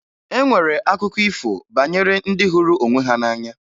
E nwere akụkọ ifo banyere ndị hụrụ onwe ha n'anya